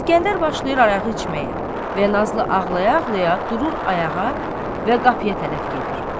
İskəndər başlayır arağı içməyə və Nazlı ağlaya-ağlaya durur ayağa və qapıya tərəf gedir.